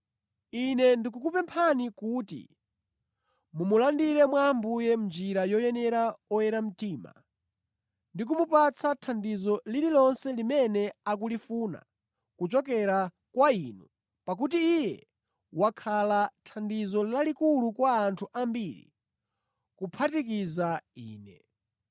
Ine ndikukupemphani kuti mumulandire mwa Ambuye mʼnjira yoyenera oyera mtima ndi kumupatsa thandizo lililonse limene akulifuna kuchokera kwa inu, pakuti iye wakhala thandizo lalikulu kwa anthu ambiri kuphatikiza ine.